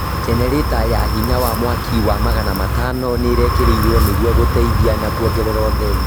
jenereta ya hinya ya mwaki wa magana matano nĩĩrekĩrirwo nĩguo gũteithia na kuongerera ũtheri